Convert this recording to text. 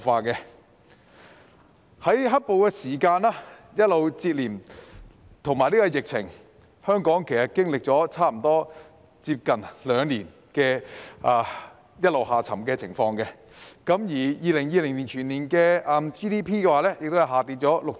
接連受到"黑暴"事件及疫情打擊，香港經歷了差不多接近兩年一直下沉的情況 ，2020 年全年的 GDP 亦下跌了 6.1%。